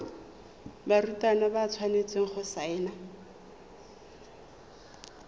barutwana ba tshwanetse go saena